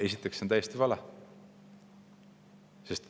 Esiteks on see täiesti vale.